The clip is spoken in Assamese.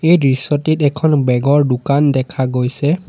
এই দৃশ্যটিত এখন বেগ ৰ দোকান দেখা গৈছে।